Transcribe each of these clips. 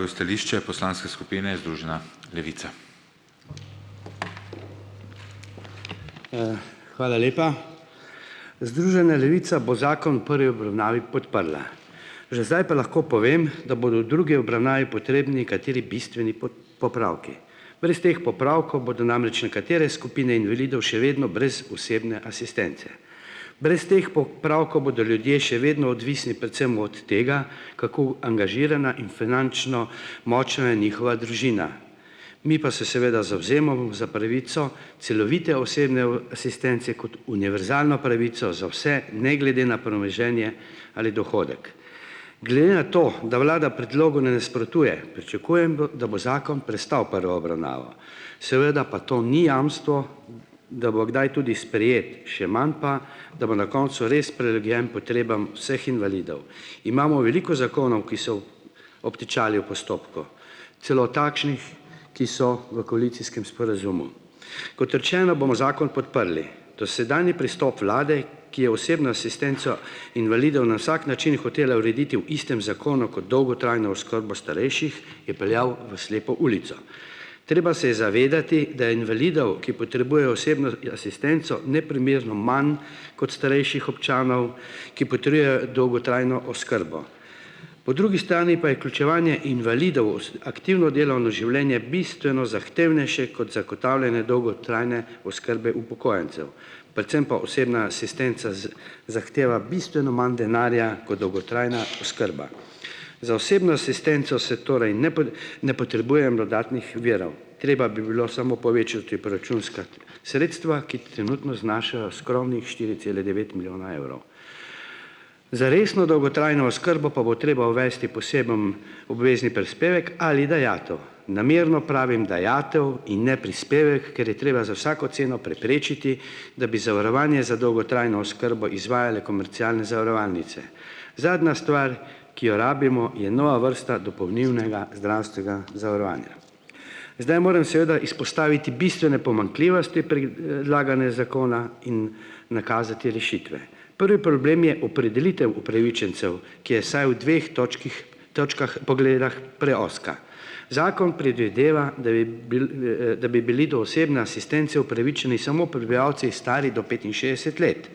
hvala lepa. Združena levica bo zakon v pri obravnavi podprla. Že zdaj pa lahko povem, da bodo drugi obravnavi potrebni kateri bistveni popravki. Brez teh popravkov bodo namreč nekatere skupine invalidov še vedno brez osebne asistence. Brez teh popravkov bodo ljudje še vedno odvisni predvsem od tega, kako angažirana in finančno močna je njihova družina, mi pa se seveda za pravico celovite osebne asistence kot univerzalno pravico za vse, ne glede na premoženje ali dohodek. To, da vlada predlogu ne nasprotuje, pričakujem, da bo zakon prestal prvo obravnavo, seveda pa to ni jamstvo, da bo kdaj tudi sprejet, še manj pa, da bo na koncu res potrebam vseh invalidov. Imamo veliko zakonov, ki so obtičali v postopku, celo takšnih, ki so v koalicijskem sporazumu. Kot rečeno, bomo zakon podprli, dosedanji pristop vlade, ki je osebno asistenco invalidov na vsak način hotela urediti v istem zakonu kot dolgotrajno oskrbo starejših, je peljal v slepo ulico. Treba se je zavedati, da invalidov, ki potrebujejo osebno asistenco neprimerno manj kot starejših občanov dolgotrajno oskrbo. Po drugi stani pa je vključevanje invalidov aktivno delovno življenje bistveno zahtevnejše kot zagotavljanje dolgotrajne oskrbe upokojencev, predvsem pa osebna asistenca zahteva bistveno manj denarja kot dolgotrajna oskrba. Za osebno asistenco se torej ne ne potrebuje dodatnih virov, treba bi bilo samo povečati proračunska sredstva, ki trenutno znašajo skromnih štiri cele devet milijona evrov. Za resno dolgotrajno oskrbo pa bo treba uvesti poseben obvezni prispevek ali dajatev, namerno pravim dajatev in ne prispevek, ker je treba za vsako ceno preprečiti, da bi zavarovanje za dolgotrajno oskrbo izvajale komercialne. Zadnja stvar, ki jo rabimo, je nova vrsta dopolnilnega zdravstvenega zavarovanja. Zdaj moram izpostaviti bistvene pomanjkljivosti dlagane zakona in nakazati rešitve. Prvi problem je opredelitev upravičencev, ki je vsaj v dveh točkah, točkah, pogledih, preozka. Zakon predvideva, da bi bili do osebne asistence upravičeni samo prebivalci, stari do petinšestdeset let.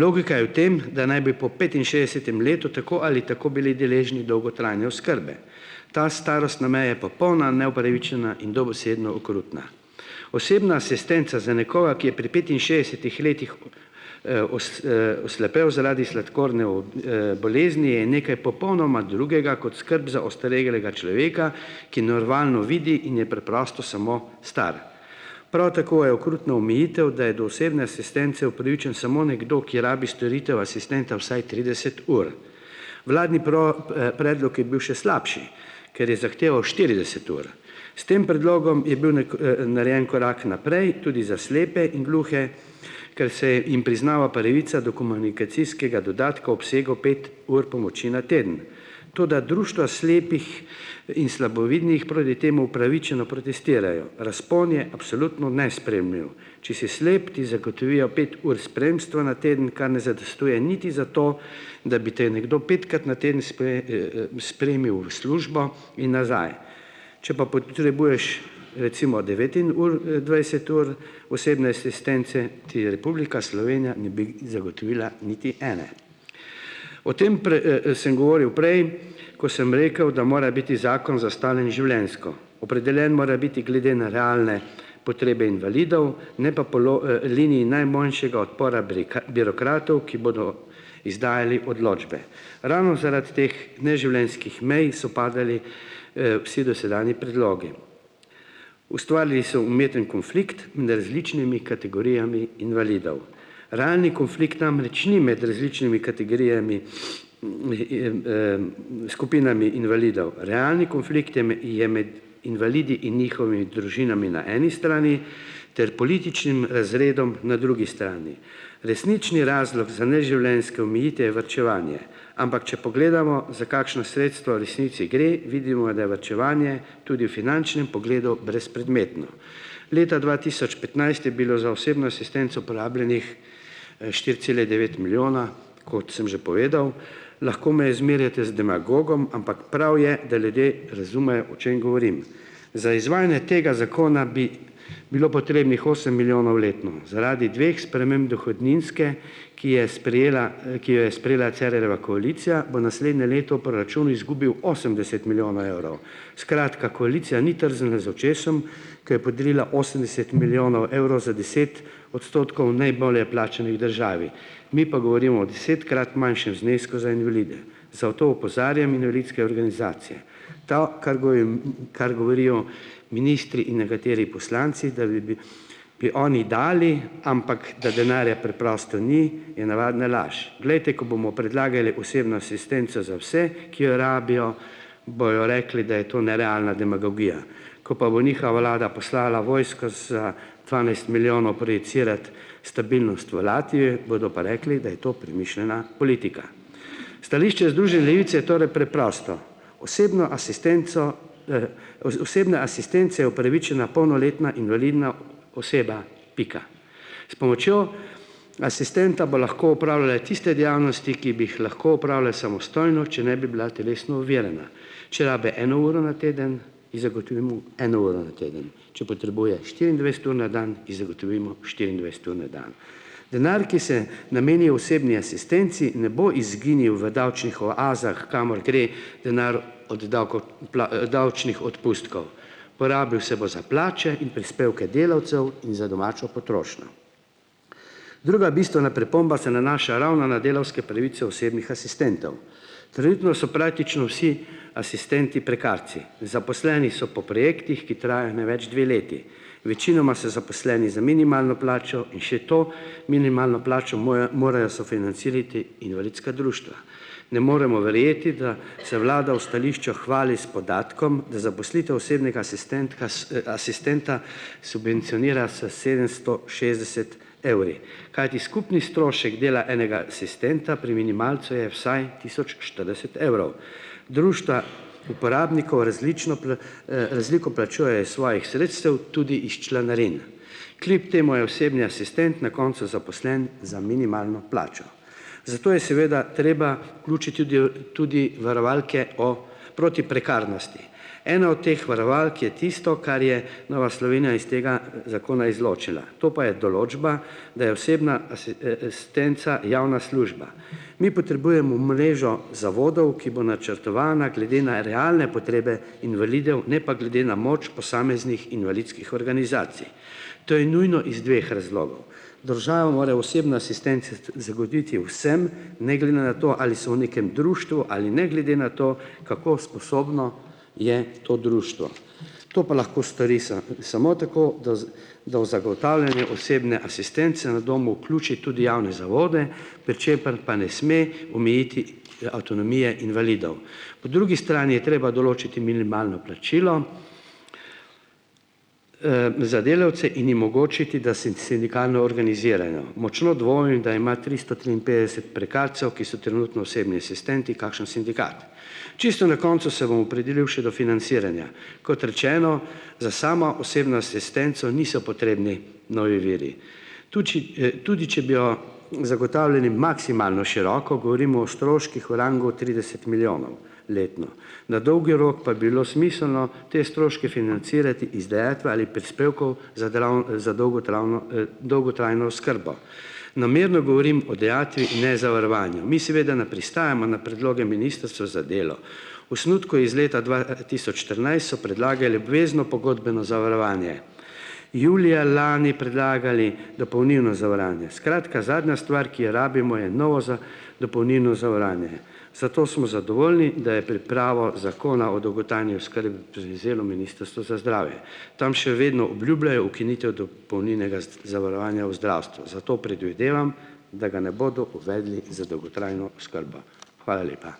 Logika je v tem, da naj bi po petinšestdesetem letu tako ali tako bili deležni dolgotrajne oskrbe. Ta starostna, popolna neupravičena in dobesedno okrutna. Osebna asistenca za nekoga, ki je pri petinšestdesetih letih, oslepel zaradi sladkorne bolezni je nekaj popolnoma drugega kot skrb za ostarelega človeka, ki normalno vidi in je preprosto samo star. Prav tako je okrutna omejitev, da je do osebne asistence upravičen samo nekdo, ki rabi storitev asistenta vsaj trideset ur. Vladni predlog je bil še slabši, ker je zahteval štirideset ur. S tem predlogom je narejen korak naprej, tudi za slepe in gluhe, ker se jim priznava pravica do komunikacijskega dodatka obsegu pet ur pomoči na teden. Toda društva slepih in slabovidnih proti temu upravičeno protestirajo, razpon je absolutno nesprejemljiv. Če si slep, ti zagotovijo pet ur spremstva na teden, kar ne zadostuje niti za to, da bi te nekdo petkrat na teden spremil v službo in nazaj, če pa potrebuješ recimo devet in ur, dvajset ur osebne asistence, ti je Republika Slovenija ne zagotovila niti ene. O tem sem govoril prej, ko sem rekel, da mora biti zakon zastavljen življenjsko, opredeljen mora biti glede na realne potrebe invalidov, ne pa po liniji najmanjšega odpora birokratov, ki bodo izdajali odločbe. Ravno zaradi teh neživljenjskih mej so padli, vsi dosedanji predlogi. Ustvarili so umeten konflikt kategorijami invalidov. Realni konflikt namreč ni med različnimi kategorijami, skupinami invalidov, realni konflikt je je med invalidi in družinami na eni strani ter političnim razredom na drugi strani. Resnični razlog za neživljenjske omejitve je varčevanje, ampak če pogledamo, za kakšna sredstva v resnici gre, vidimo, da je varčevanje tudi v finančnem pogledu brezpredmetno. Leta dva tisoč petnajst je bilo za osebno asistenco porabljenih, štiri cele devet milijona. Kot sem že povedal, lahko me zmerjate z demagogom, ampak prav je, da ljudje razumejo, o čem govorim. Za izvajanje tega zakona bi bilo potrebnih osem milijonov letno. Zaradi dveh sprememb dohodninske, ki je sprijela, ki jo je sprejela Cerarjeva koalicija, bo naslednje leto proračun izgubil osemdeset milijonov evrov. Skratka, koalicija ni trznila z očesom, ker je podarila osemdeset milijonov evrov za deset odstotkov najbolje plačanih državi. Mi pa govorimo o desetkrat manjšem znesku za invalide. Opozarjam organizacije, kar kar govorijo ministri in nekateri poslanci, da bi bi bi oni dali, ampak da denarja preprosto ni, je navadna laž. Glejte, ko bomo predlagali osebno asistenco za vse, ki jo rabijo, bojo rekli, da je to nerealna demagogija. Ko pa bo njihova vlada poslala vojsko za dvanajst milijonov stabilnost v, bodo pa rekli, da je to premišljena politika. Stališče Združene levice je torej preprosto, osebno asistenco, osebne asistence je upravičena polnoletna invalidna oseba, pika. S pomočjo asistenta bo lahko opravljala tiste dejavnosti, ki bi jih lahko opravila samostojno, če ne bi bila telesno ovirana, če rabi eno uro na teden, in zagotovimo eno uro na teden, če potrebuje štiriindvajset ur na dan, ji zagotovimo štiriindvajset ur na dan. Denar, ki se nameni osebni asistenci, ne bo izginil v davčnih oazah, kamor gre denar od davko davčnih odpustkov, porabil se bo za plače in prispevke delavcev in za domačo potrošnjo. Druga bistvena pripomba se nanaša ravno na delavske pravice osebnih asistentov. So vsi asistenti prekarci, zaposleni so po projektih, ki trajajo največ dve leti. Večinoma so zaposleni za minimalno plačo in še to minimalno plačo morajo sofinancirati invalidska društva. Ne moremo verjeti, da se vlada v stališču hvali s podatkom, da zaposlitev osebnega asistentka asistenta subvencionira, s#, sedemsto šestdeset evri, kajti skupni strošek dela enega asistenta pri minimalcu je vsaj tisoč štirideset evrov. Društva uporabnikov različno razliko plačujejo iz svojih sredstev, tudi iz članarin. Kljub temu je osebni asistent na koncu zaposlen za minimalno plačo. Zato je seveda treba tudi varovalke o proti prekarnosti. Ena od teh varovalk je tisto, kar je Nova Slovenija iz tega, zakona izločila, to pa je določba, da je osebna asistenca javna služba. Mi potrebujemo mrežo zavodov, ki bo načrtovana glede na realne potrebe invalidov, ne pa glede na moč posameznih invalidskih organizacij. To je nujno iz dveh razlogov, država mora osebno asistenco vsem, ne, to, ali so v nekem društvu, ali ne glede na to, kako sposobno je to društvo. To pa lahko stori samo tako, da, da v zagotavljanje osebne asistence na domu vključi tudi javne zavode, per čeprav pa ne sme omejiti avtonomije invalidov. Po drugi strani je treba določiti minimalno plačilo, za delavce in jim omogočiti, da se sindikalno organizirajo. Močno da ima tristo triinpetdeset prekarcev, ki so trenutno osebni asistenti, kakšen sindikat. Čisto na koncu se bom opredelil še do financiranja. Kot rečeno, za samo osebno asistenco niso potrebni novi viri. Tuči, tudi če bi jo maksimalno široko, govorim o stroških v rangu trideset milijonov letno, na dolgi rok pa bilo smiselno te stroške financirati iz ali prispevkov za, za dolgotravno, dolgotrajno oskrbo. Namerno govorim o dajatvi in ne zavarovanju. Mi seveda ne pristajamo na predloge Ministrstva za delo. Osnutku iz leta dva, tisoč štirinajst so predlagali obvezno pogodbeno zavarovanje, julija lani predlagali dopolnilno. Skratka, zadnja stvar, ki je rabimo, je novo dopolnilno zavarovanje. Zato smo zadovoljni, da je pripravo Zakona o dolgotrajni Ministrstvo za zdravje. Tam še vedno obljubljajo ukinitev dopolnilnega zavarovanja v zdravstvu, zato predvidevam, da ga ne bodo uvedli za dolgotrajno oskrbo. Hvala lepa.